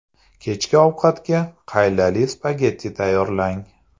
Kechki ovqatga qaylali spagetti tayyorlang.